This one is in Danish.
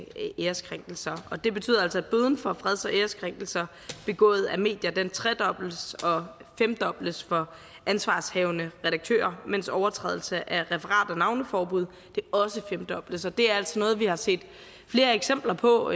æreskrænkelser det betyder altså at bøden for freds og æreskrænkelser begået af medier tredobles og femdobles for ansvarshavende redaktør mens overtrædelse af referat og navneforbud også femdobles og det er altså noget vi har set flere eksempler på